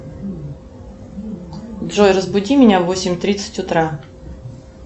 джой разбуди меня в восемь тридцать утра